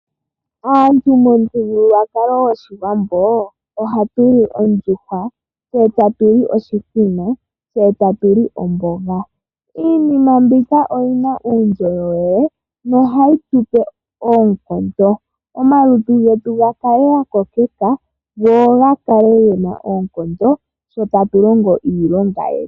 Aantu nomuthigululwakalo goshiwambo ohatu li oondjuhwa tse tatu li oshithima tse tatu li omboga. Iinima mbika oyina uundjolowele nohayi tu pe oonkondo omalutu getu ga kale ga ngomeka go gakale gena oonkondo sho tatu longo iilonga yetu.